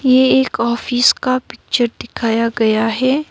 ये एक ऑफिस का पिक्चर दिखाया गया है।